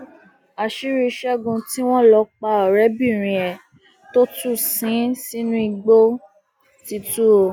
àṣírí ṣẹgun tí wọn lọ pa ọrẹbìnrin ẹ tó tún sin ín sínú igbó ti tù ọ